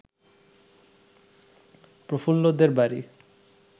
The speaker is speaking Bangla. প্রফুল্লদের বাড়ি